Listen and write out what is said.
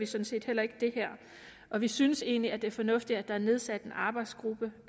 set heller ikke det her og vi synes egentlig det er fornuftigt at der er nedsat en arbejdsgruppe